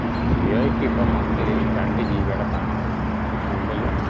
G ഐ ക് ഇപ്പം monthly രണ്ട് gb ടെ plan ഉണ്ട് അതിൽ കൂടലുണ്ട്